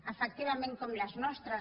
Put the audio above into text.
efectivament com les nostres